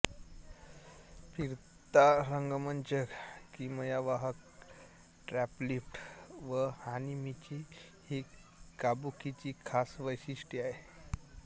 फिरता रंगमंच किमयावाहक ट्रॅपलिफ्ट व हानामिची ही काबुकीची खास वैशिष्ट्ये आहेत